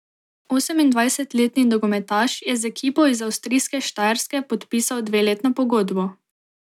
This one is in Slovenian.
Osemindvajsetletni nogometaš je z ekipo iz avstrijske Štajerske podpisal dveletno pogodbo.